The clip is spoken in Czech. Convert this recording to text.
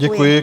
Děkuji.